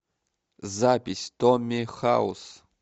запись томми хаус